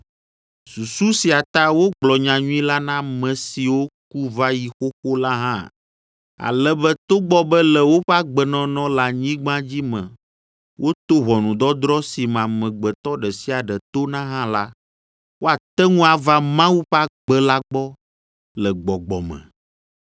Susu sia ta wogblɔ nyanyui la na ame siwo ku va yi xoxo la hã, ale be togbɔ be le woƒe agbenɔnɔ le anyigba dzi me woto ʋɔnudɔdrɔ̃ si me amegbetɔ ɖe sia ɖe tona hã la, woate ŋu ava Mawu ƒe agbe la gbɔ le gbɔgbɔ me.